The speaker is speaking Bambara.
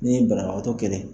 Ni banabagatɔ kɛlɛ